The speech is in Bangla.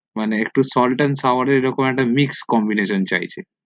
মানে একটু salt and saurer এর এরকম mix communication চাইছে